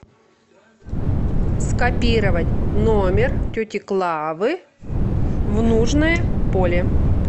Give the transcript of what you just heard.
скопировать номер тети клавы в нужное поле